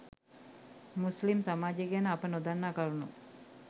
මුස්ලිම් සමාජය ගැන අප නොදන්නා කරුණු